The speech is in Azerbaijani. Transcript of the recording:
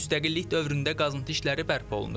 Müstəqillik dövründə qazıntı işləri bərpa olunur.